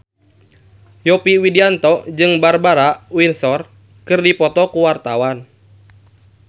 Yovie Widianto jeung Barbara Windsor keur dipoto ku wartawan